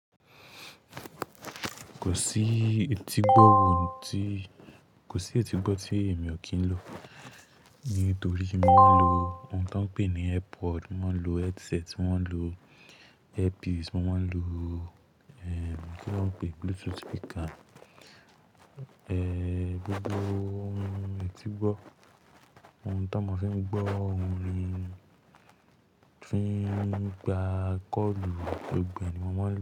Kò sí etígbọ́ tí èmi ò kí ń lò. Nítorí mi wón ń lo ohun tó ń pé ní Airpod, mo ń lo headset, mo ń lo earpiece, mo máa ń lo ki lo n pe, bluetooth speaker. Gbogbo ohun etígbọ́, ohun tó mọ fún mí gbọ́ orin, fi n gbá call, gbogbo ẹ ni mó máa ń lò.